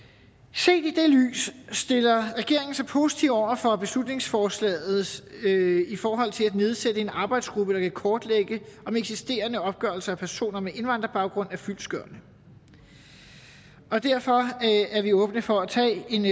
set i det lys stiller regeringen sig positivt over for beslutningsforslaget i forhold til at nedsætte en arbejdsgruppe der kan kortlægge om eksisterende opgørelser af personer med indvandrerbaggrund er fyldestgørende derfor er vi åbne for at tage en